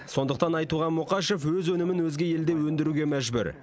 сондықтан айтуған мұқашев өз өнімін өзге елде өндіруге мәжбүр